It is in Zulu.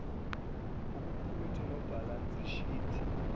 oqukethe nebhalansi shithi